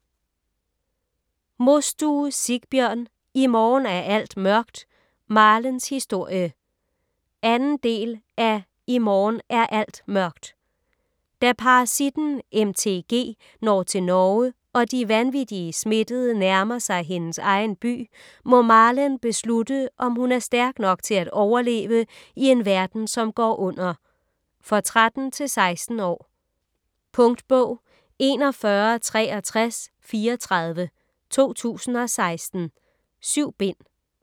Mostue, Sigbjørn: I morgen er alt mørkt - Marlens historie 2. del af I morgen er alt mørkt. Da parasitten MTG når til Norge, og de vanvittige smittede nærmer sig hendes egen by, må Marlen beslutte om hun er stærk nok til at overleve i en verden som går under. For 13-16 år. Punktbog 416334 2016. 7 bind.